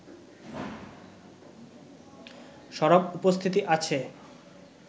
সরব উপস্থিতি আছে